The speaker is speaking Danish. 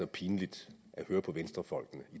pinligt at høre på venstrefolkene i